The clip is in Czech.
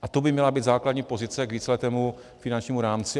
A to by měla být základní pozice k víceletému finančnímu rámci.